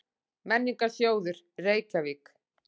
Menningarsjóður, Reykjavík.